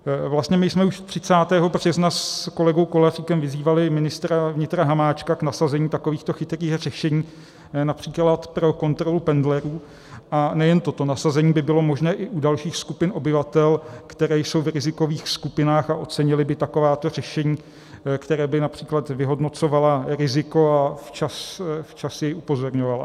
Vlastně my jsme už 30. března s kolegou Koláříkem vyzývali ministra vnitra Hamáčka k nasazení takovýchto chytrých řešení například pro kontrolu pendlerů, a nejen toto, nasazení by bylo možné i u dalších skupin obyvatel, které jsou v rizikových skupinách a ocenily by takováto řešení, která by například vyhodnocovala riziko a včas je upozorňovala.